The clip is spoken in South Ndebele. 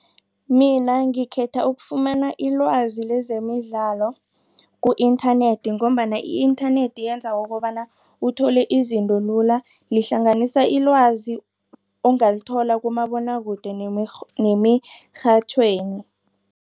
Mina ngikhetha ukufumana ilwazi lezemidlalo ku-internet ngombana i-internet yenza ukobana uthole izinto lula lihlanganisa ilwazi ongalithola kumabonwakude nemirhatjhweni.